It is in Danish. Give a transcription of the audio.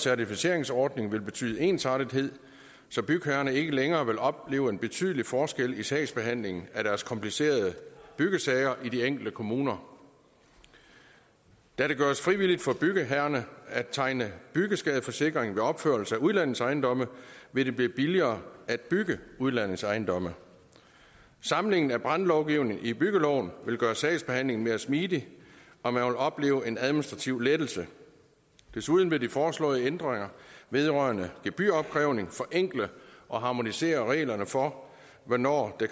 certifiseringsordning vil betyde ensartethed så bygherrerne ikke længere vil opleve en betydelig forskel i sagsbehandlingen af deres komplicerede byggesager i de enkelte kommuner da det gøres frivilligt for bygherrerne at tegne byggeskadeforsikring ved opførelse af udlejningsejendomme vil det blive billigere at bygge udlejningsejendomme samlingen af brandlovgivning i byggeloven vil gøre sagsbehandlingen mere smidig og man vil opleve en administrativ lettelse desuden vil de foreslåede ændringer vedrørende gebyropkrævning forenkle og harmonisere reglerne for hvornår der